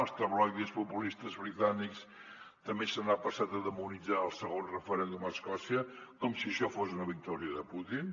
als tabloides populistes britànics també s’ha passat a demonitzar el segon referèndum a escòcia com si això fos una victòria de putin